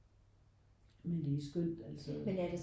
Men det er skønt altså